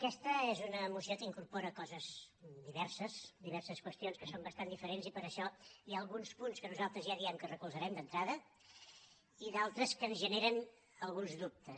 aquesta és una moció que incorpora coses diverses diverses qüestions que són bastant diferents i per això hi ha alguns punts que nosaltres ja diem que els recolzarem d’entrada i d’altres que ens generen alguns dubtes